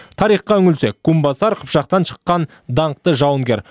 тарихқа үңілсек кумбасар қыпшақтан шыққан даңқты жауынгер